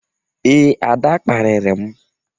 Ee, Ada kparịrị m.